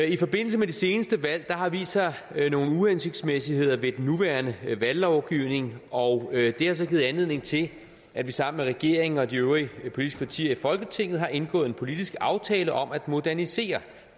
i forbindelse med de seneste valg har der vist sig nogle uhensigtsmæssigheder ved den nuværende valglovgivning og det har så givet anledning til at vi sammen med regeringen og de øvrige politiske partier i folketinget har indgået en politisk aftale om at modernisere